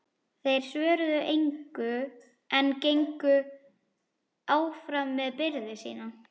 Þeir svöruðu engu en gengu áfram með byrði sína.